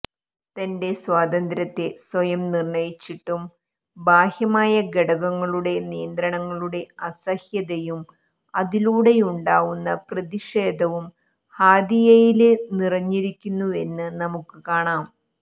തന്റെ സ്വാതന്ത്ര്യത്തെ സ്വയം നിര്ണ്ണയിച്ചിട്ടും ബാഹ്യമായ ഘടകങ്ങളുടെ നിയന്ത്രണങ്ങളുടെ അസഹ്യതയും അതിലൂടെയുണ്ടാവുന്ന പ്രതിഷേധവും ഹാദിയയില് നിറഞ്ഞിരുന്നുവെന്ന് നമുക്ക് കാണാം